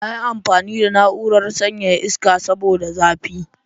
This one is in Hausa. Na yi amfani da na'urar sanyaya iska saboda zafi.